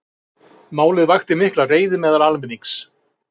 Málið vakti mikla reiði meðal almennings